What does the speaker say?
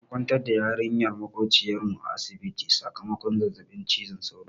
An kwantar da yarinyar maƙociyar mu a asibiti sakamakon zazzaɓin cizon sauro.